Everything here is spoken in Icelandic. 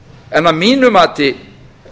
en að mínu mati